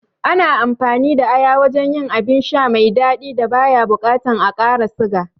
Ana amfani da aya wajen yin abin sha mai daɗi da baya bukatan a ƙara siga